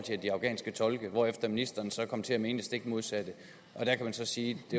de afghanske tolke hvorefter ministeren så kom til at mene stik det modsatte der kan man så sige at